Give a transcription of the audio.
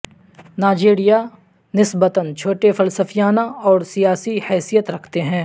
Nigeria نسبتا چھوٹے فلسفیانہ اور سیاسی حیثیت رکھتے ہیں